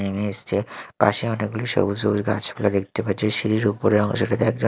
নেমে এসছে পাশে অনেকগুলি সবুজ সবুজ গাছপালা দেখতে পাচ্ছি সিঁড়ির উপরের অংশটাতে একজন--